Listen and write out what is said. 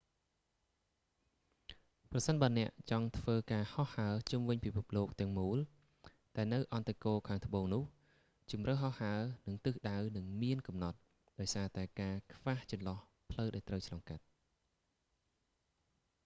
ប្រសិនបើអ្នកចង់ធ្វើការហោះហើរជុំវិញពិភពលោកទាំងមូល តែនៅអឌ្ឍគោលខាងត្បូងនោះ ជម្រើសហោះហើរ និងទិសដៅនឹងមានកំណត់ ដោយសារតែការខ្វះចន្លោះផ្លូវដែលត្រូវឆ្លងកាត់